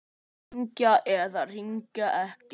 Hringja eða hringja ekki?